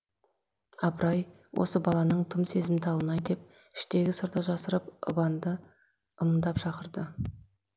апыр ай осы баланың тым сезімталын ай деп іштегі сырды жасырып ыбанды ымдап шақырды